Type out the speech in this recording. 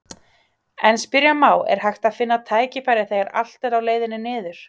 En spyrja má, er hægt að finna tækifæri þegar allt er á leiðinni niður?